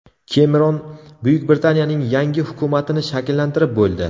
Kemeron Buyuk Britaniyaning yangi hukumatini shakllantirib bo‘ldi.